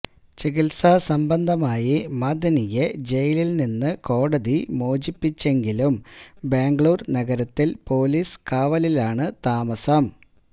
ചികിത്സാ സംബന്ധമായി മഅ്ദനിയെ ജയിലില് നിന്ന് കോടതി മോചിപ്പിച്ചെങ്കിലും ബംഗളൂരു നഗരത്തില് പൊലീസ് കാവലിലാണ് താമസം